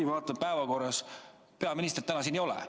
Ma vaatan, päevakorras peaministri vastamist täna ei ole.